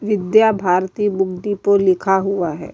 ودیا Bharti book depot لکھا ہوا ہے۔